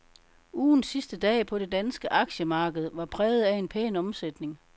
Ugens sidste dag på det danske aktiemarked var præget af en pæn omsætning.